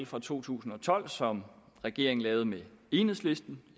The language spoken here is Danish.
for to tusind og tolv som regeringen lavede med enhedslisten